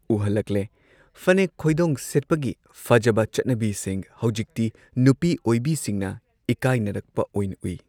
ꯎꯍꯜꯂꯛꯂꯦ ꯐꯅꯦꯛ ꯈꯣꯏꯗꯣꯡ ꯁꯦꯠꯄꯒꯤ ꯐꯖꯕ ꯆꯠꯅꯕꯤꯁꯤꯡ ꯍꯧꯖꯤꯛꯇꯤ ꯅꯨꯄꯤ ꯑꯣꯏꯕꯤꯁꯤꯡꯅ ꯏꯀꯥꯏꯅꯔꯛꯄ ꯑꯣꯏꯅ ꯎꯏ꯫